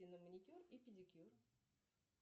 на маникюр и педикюр